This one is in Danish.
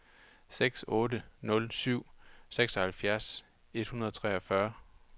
seks otte nul syv syvoghalvfjerds et hundrede og treogfyrre